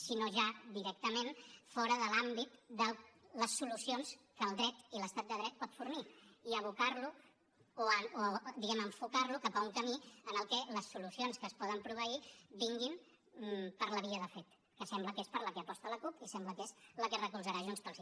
si no ja directament fora de l’àmbit de les solucions que el dret i l’estat de dret pot fornir i abocar lo o diguem ne enfocar lo cap a un camí en què les solucions que es poden proveir vinguin per la via de fet que sembla que és per la que hi aposta la cup i sembla que és la que recolzarà junts pel sí